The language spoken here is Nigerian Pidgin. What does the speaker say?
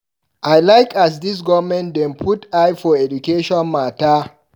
I like as dis government don dey put eye for education mata.